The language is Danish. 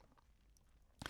DR2